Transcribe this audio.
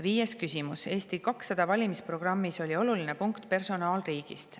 Viies küsimus: "Eesti 200 valimisprogrammis oli oluline punkt personaalriigist.